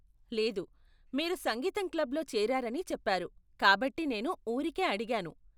లేదు, మీరు సంగీతం క్లబ్లో చేరారని చెప్పారు కాబట్టి నేను ఊరికే అడిగాను .